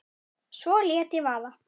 Svo lét ég vaða.